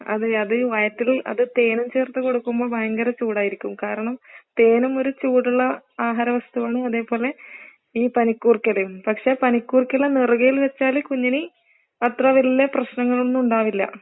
അതെ, അത് വയറ്റിൽ അത് തേൻനും ചെർത്ത് കൊടുക്കുമ്പോൾ ഭയങ്കര ചൂടായിരിക്കും കാരണം തേനും ഒരു ചൂടുള്ള ആഹാരവസ്തുവാണ് അതേ പോലെ ഈ പനിക്കുർക്കയിലയും പക്ഷെ പനിക്കുർക്കയില നെറുകയിൽ വെച്ചാല് കുഞ്ഞിന് അത്ര വലിയ പ്രശ്നങ്ങളൊന്നും ഉണ്ടാവില്ല.